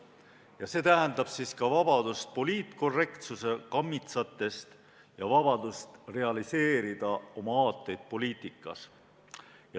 Ja see tähendab ka vabadust poliitkorrektsuse kammitsatest ja vabadust realiseerida oma aateid poliitikas.